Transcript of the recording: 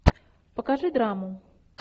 покажи драму